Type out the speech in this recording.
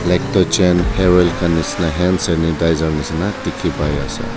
ek toh chain hair oil khan nishi na hands sanitizer nishi dikey pai ase.